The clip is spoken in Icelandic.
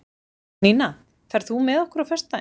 Nína, ferð þú með okkur á föstudaginn?